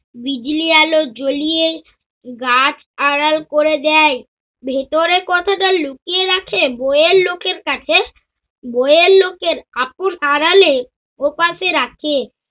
বিজলী আলো জ্বলিয়ে গাছ আড়াল করে দেয়। ভিতরে কতটা লুকিয়ে রাখে বইয়ের লোকের কাছে। বইয়ের লোকের আপন আড়ালে ওপাশে রাখে।